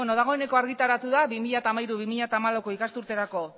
dagoeneko argitaratu da bi mila hamairu bi mila hamalau ikasturterako